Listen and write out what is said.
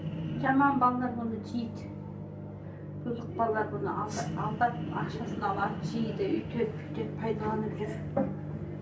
жаман балалар мұны жейді бұзық балалар бұны алдап алдап ақшасын алады жейді өйтеді бүйтеді пайдаланып жүр